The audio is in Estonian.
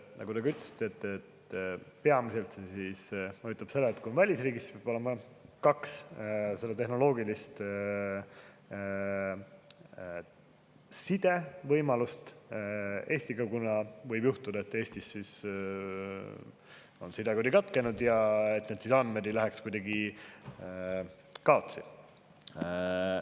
Nagu te ise ka ütlesite, peamiselt mõjutab see seda, et kui on välisriigis, siis peab olema kaks tehnoloogilist sidevõimalust Eestiga, kuna võib juhtuda, et Eestis on side katkenud, ja siis need andmed ei lähe kaotsi.